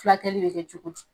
Fulakɛli bɛ kɛ cogo di?